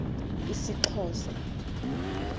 isxhosa